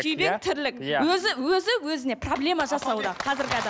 күйбең тірлік өзі өзі өзіне проблема жасауда қазіргі